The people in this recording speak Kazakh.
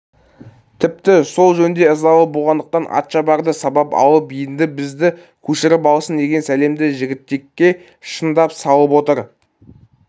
тіпті сол жөнде ызалы болғандықтан атшабарды сабап алып енді бізді көшіріп алсын деген сәлемді жігітекке шындап салып отыр